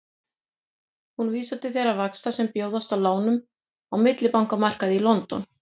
Hún vísar til þeirra vaxta sem bjóðast á lánum á millibankamarkaði í London.